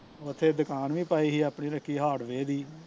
ਓਥੇ ਦੁਕਾਨ ਵੀ ਪਾਈ ਸੀ ਆਪਣੀ ਉਹਨੇ ਕੀ hard ਵੇ ਦੀ